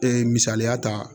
Ee misaliya ta